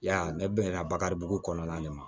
Ya ne bɛ na bakaribugu kɔnɔna de ma